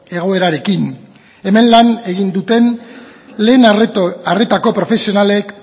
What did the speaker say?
egoerarekin hemen lan egin duten lehen arretako profesionalek